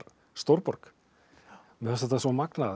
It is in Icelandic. stórborg mér fannst þetta svo magnað